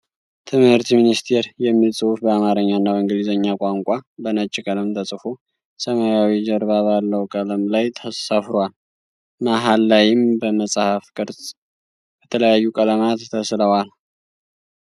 "ትምህርት ሚኒስቴር" የሚል ጽሁፍ በአማረኛ እና በእንግሊዘኛ ቋንቋ በነጭ ቀለም ተጽፎ ሰማያዊ ጀርባ ባለው ቀለም ላይ ሰፍሯል። መሃል ላይም በመጽሃፍ ቅርጽ ከተለያዩ ቀለማት ተስለዋል።